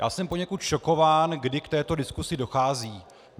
Já jsem poněkud šokován, kdy k této diskusi dochází.